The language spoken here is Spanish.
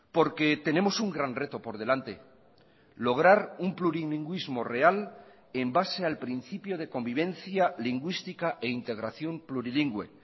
porque tenemos un gran reto por delante lograr un plurilingüismo real en base al principio de convivencia lingüística e integración plurilingüe